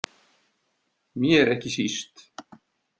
Mér ekki síst.